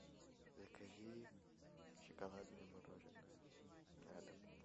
закажи шоколадное мороженое на дом